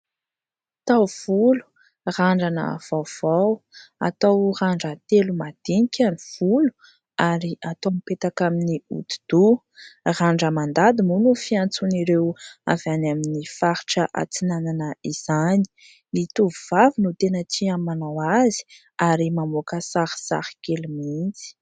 Taovolo, randrana vaovao. Atao randran-telo madinika ny volo ary atao mipetaka amin'ny hodi-doha. Randra-mandady moa no fiantsoan'ireo avy any amin'ny faritra atsinanana izany. Ny tovovavy no tena tia manao azy ary mamoaka sarisary kely mihitsy.